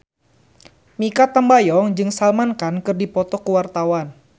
Mikha Tambayong jeung Salman Khan keur dipoto ku wartawan